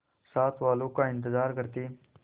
साथ वालों का इंतजार करते